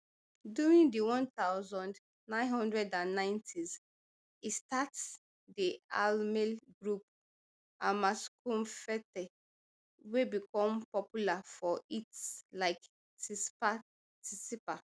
during di one thousand, nine hundred and ninetys e start di allmale group amaskumfete wey become popular for hits like tsipa tsipa